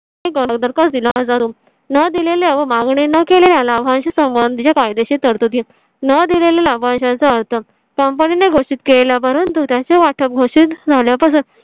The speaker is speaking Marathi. अगोदर का दिला. माझा room नं दिलेल्या व मागणी न केलेल्या लाभांश आणि समानते कायदेशीर तरतुदीत नं दिलेला लाभांश चा अर्थ company ने घोषित केला. परंतु त्याचा वाटा घोषित झाल्या पासून